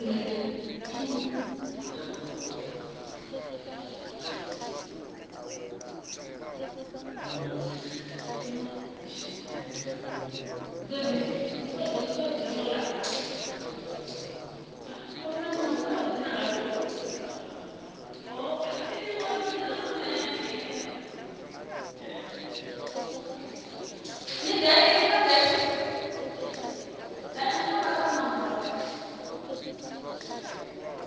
ita ṱhoḓisiso dza vhuḓifari vhune